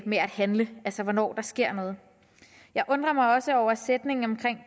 med at handle altså hvornår der sker noget jeg undrer mig også over sætningen om